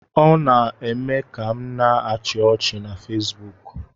Ọ na-eme m ka m na -achi ọchị na Fesbuk